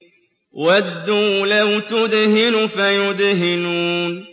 وَدُّوا لَوْ تُدْهِنُ فَيُدْهِنُونَ